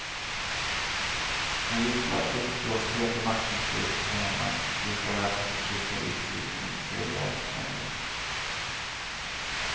Han gisslar uppblåsthet och maktmissbruk här hemma likaväl som förtryck och utsugning i den tredje världens länder.